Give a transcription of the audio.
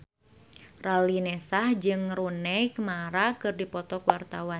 Raline Shah jeung Rooney Mara keur dipoto ku wartawan